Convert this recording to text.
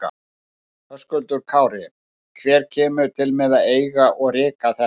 Höskuldur Kári: Hver kemur til með að eiga og reka þetta?